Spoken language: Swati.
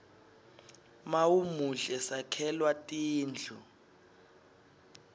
mawumuhle sakhelwa tindlu